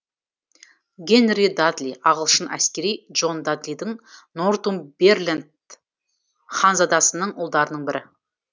генри дадли ағылшын әскери джон дадлидің нортумберланд ханзадасының ұлдарының бірі